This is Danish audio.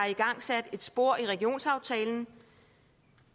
igangsat et spor i regionsaftalen